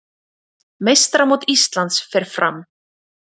Meistaramót Íslands fer fram